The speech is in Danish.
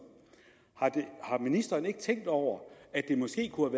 har ministeren ikke tænkt over at det måske kunne